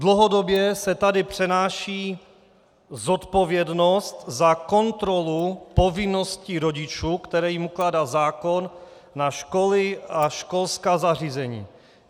Dlouhodobě se tady přenáší zodpovědnost za kontrolu povinností rodičů, které jim ukládá zákon, na školy a školská zařízení.